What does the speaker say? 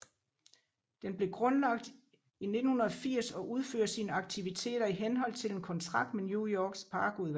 Den blev grundlagt i 1980 og udfører sine aktiviteter i henhold til en kontrakt med New Yorks parkudvalg